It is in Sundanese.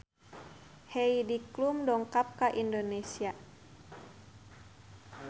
Heidi Klum dongkap ka Indonesia